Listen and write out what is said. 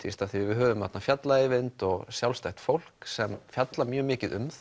því við höfum þarna fjalla Eyvind og sjálfstætt fólk sem fjallar mjög mikið um